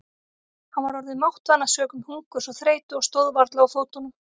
Hann var orðinn máttvana sökum hungurs og þreytu og stóð varla á fótunum.